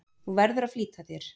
Þú verður að flýta þér.